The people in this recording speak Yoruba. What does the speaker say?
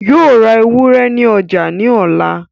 Yóò ra ewúrẹ́ ní ọjà ní ọ̀la